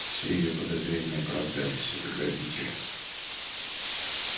все её подозрения оправдались это грабитель